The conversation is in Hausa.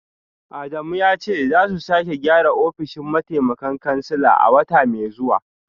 Adamu ya ce za su sake gyara ofishin mataimakan kansila a wata mai zuwa